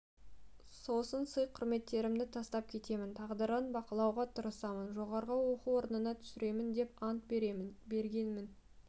сосын сый-құрметтерімді тастап кетемін тағдырын бақылауға тырысамын жоғары оқу орнына түсіремін деп ант беремін бергенмін